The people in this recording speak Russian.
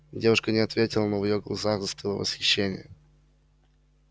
девушка не ответила но в её глазах застыло восхищение